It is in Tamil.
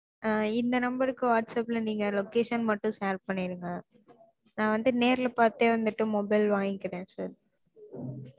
ஆஹ் இந்த number க்கு whatsapp ல நீங்க location மட்டும் share பன்னிருங்க. நா வந்து நேர்ல பாத்தே வந்துட்டு mobile வாங்கிக்கிறேன் sir